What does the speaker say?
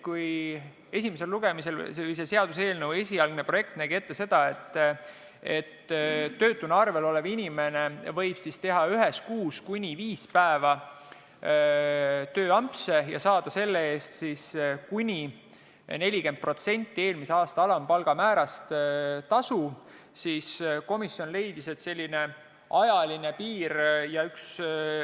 Kui esimesel lugemisel olnud seaduseelnõu esialgne projekt nägi ette seda, et töötuna arvel olev inimene võib teha ühes kuus kuni viis päeva tööampse ja saada selle eest siis kuni 40% eelmise aasta alampalga määrast tasu, siis komisjon leidis, et selline ajaline piir võiks olla teistsugune.